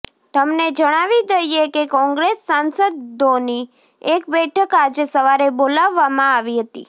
તમને જણાવી દઈએ કે કોંગ્રેસ સાંસદોની એક બેઠક આજે સવારે બોલાવવામાં આવી હતી